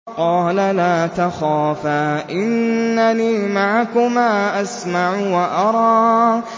قَالَ لَا تَخَافَا ۖ إِنَّنِي مَعَكُمَا أَسْمَعُ وَأَرَىٰ